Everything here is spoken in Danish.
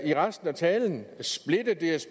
i resten af talen